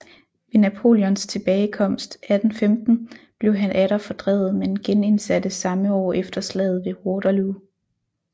Ved Napoleons tilbagekomst 1815 blev han atter fordrevet men genindsattes samme år efter slaget ved Waterloo